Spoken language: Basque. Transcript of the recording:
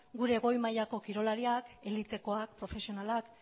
gure goi mailako kirolariak elitekoak profesionalak